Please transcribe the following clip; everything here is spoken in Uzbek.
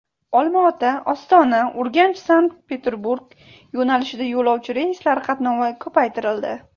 Olmaota, Ostona, UrganchSankt-Peterburg yo‘nalishida yo‘lovchi reyslari qatnovi ko‘paytirildi.